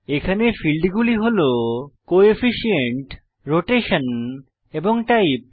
এখানে ফীল্ডগুলি হল কোফিশিয়েন্ট রোটেশন এবং টাইপ